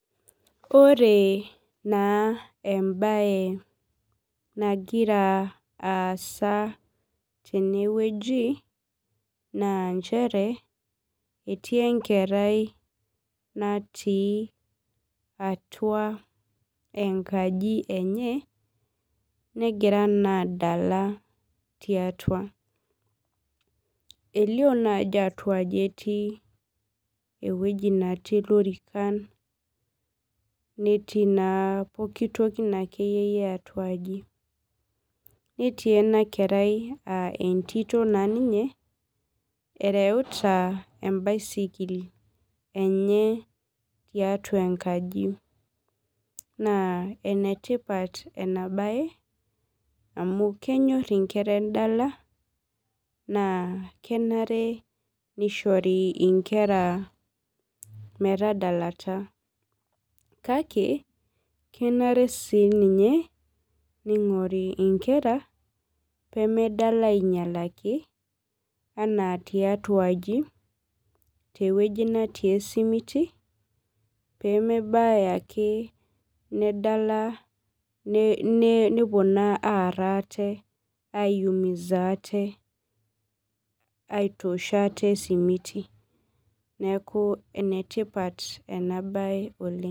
Ore na embae nagira aasa tenewueji na nchere etii enkerai natii atua enkaji enye negira naa adala tiatua elio naa atuaji etii ewoi natii lorikan netii na pooki toki natii atua aji netii enakerai na entito naa nereuta embaisikil enye tiatua enkaji na enetipat enabae amu kenyor nkera endala na kenare nishori nkera metadalata kake kenare ninyeeningori nkera pemedala inyalaki ana tiatua aji ana tewuei nemetii esimuti peme nedala nepuo naa aar ate aitosh aate esimiti neaku enetipat enabae oleng.